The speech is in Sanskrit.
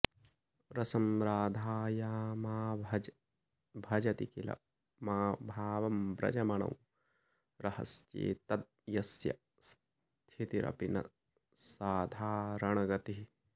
रसं राधायामाभजति किल भावं व्रजमणौ रहस्ये तद् यस्य स्थितिरपि न साधारणगतिः